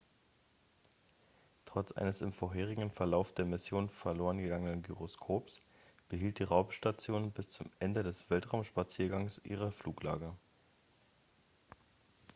trotz eines im vorherigen verlauf der mission verloren gegangenen gyroskops behielt die raumstation bis zum ende des weltraumspaziergangs ihre fluglage